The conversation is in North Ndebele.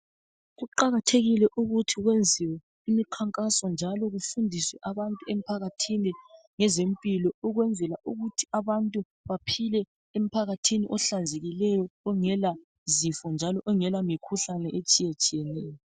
Kuqakathekile ukuthi kwenziwe imikhankaso njalo kufundiswe abantu emphakathini ngezempilo ukwenzela ukuthi abantu baphile emphakathini ohlanzekileyo ongela zifo njalo ongela mikhuhlane ehlukahlukeneyo